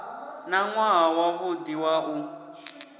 na nwaha wavhudi wa u